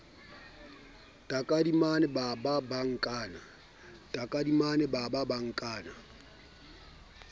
takadimane ba ba ba nkana